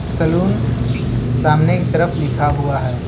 Salon सामने की तरफ लिखा हुआ है।